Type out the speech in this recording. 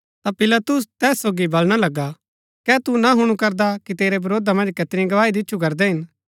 ता पिलातुस तैस सोगी बलणा लगा कै तू ना हुणु करदा कि तेरै वरोधा मन्ज कैतनी गवाही दिच्छु करदै हिन